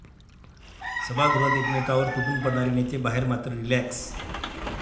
सभागृहात एकमेकांवर तुटून पडणारे नेते बाहेर मात्र रिलॅक्स!